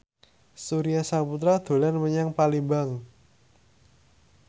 Surya Saputra dolan menyang Palembang